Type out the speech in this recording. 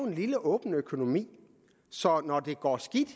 en lille åben økonomi så når det går skidt